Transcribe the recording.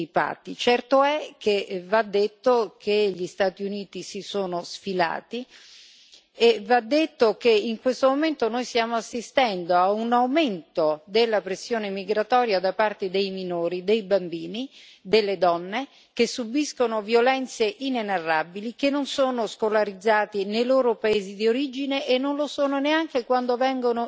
Certo è che, va detto, gli Stati Uniti si sono defilati e va detto che in questo momento noi stiamo assistendo a un aumento della pressione migratoria da parte di minori, di bambini, di donne, che subiscono violenze inenarrabili, che non sono scolarizzati nei loro paesi di origine e non lo sono neanche quando vengono in Europa.